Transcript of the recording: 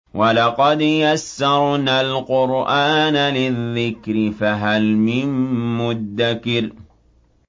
وَلَقَدْ يَسَّرْنَا الْقُرْآنَ لِلذِّكْرِ فَهَلْ مِن مُّدَّكِرٍ